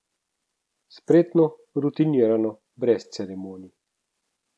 Spretno, rutinirano, brez ceremonij.